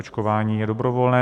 Očkování je dobrovolné.